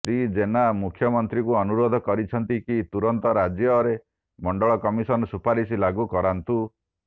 ଶ୍ରୀ ଜେନା ମୁଖ୍ୟମନ୍ତ୍ରୀଙ୍କୁ ଅନୁରୋଧ କରିଛନ୍ତି କି ତୁରନ୍ତ ରାଜ୍ୟରେ ମଣ୍ଡଳ କମିଶନ ସୁପାରିଶ ଲାଗୁ କରାନ୍ତୁ